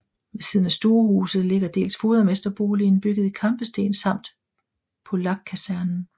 Ved siden af stuehuset ligger dels fodermesterboligen bygget i kampesten samt Polakkasernen